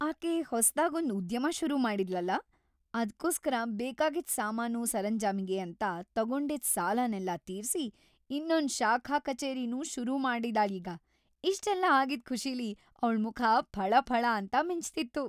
ಆಕೆ ಹೊಸ್ದಾಗೊಂದ್‌ ಉದ್ಯಮ ಶುರು ಮಾಡಿದ್ಳಲ್ಲ, ಅದ್ಕೋಸ್ಕರ ಬೇಕಾಗಿದ್ ಸಾಮಾನು ಸರಂಜಾಮಿಗೆ ಅಂತ ತಗೊಂಡಿದ್ ಸಾಲನೆಲ್ಲ ತೀರ್ಸಿ, ಇನ್ನೊಂದ್‌ ಶಾಖಾ ಕಚೇರಿನೂ ಶುರುಮಾಡಿದಾಳೀಗ, ಇಷ್ಟೆಲ್ಲ ಆಗಿದ್‌ ಖುಷಿಲಿ ಅವ್ಳ್‌ ಮುಖ ಫಳಫಳ ಅಂತ ಮಿಂಚ್ತಿತ್ತು.